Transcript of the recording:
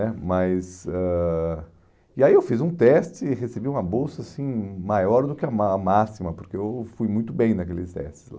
né mas ãh E aí eu fiz um teste e recebi uma bolsa assim maior do que a má a máxima, porque eu fui muito bem naqueles testes lá.